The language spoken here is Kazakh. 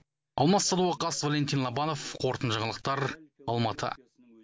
алмас садуақас валентин лобанов қорытынды жаңалықтар алматы